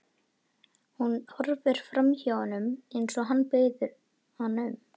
Hún horfir framhjá honum eins og hann biður hana um.